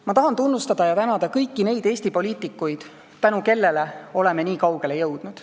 Ma tahan tunnustada ja tänada kõiki neid Eesti poliitikuid, tänu kellele oleme nii kaugele jõudnud.